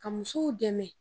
Ka musow dɛmɛ